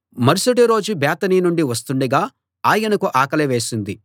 మరుసటి రోజు బేతనీ నుండి వస్తుండగా ఆయనకు ఆకలి వేసింది